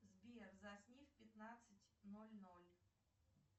сбер засни в пятнадцать ноль ноль